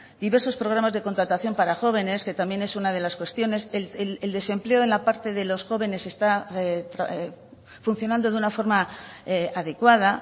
diversos programas de contratación para jóvenes que también es una de las cuestiones el desempleo en la parte de los jóvenes está funcionando de una forma adecuada